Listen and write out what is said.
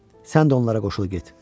Sən də onlara qoşul get.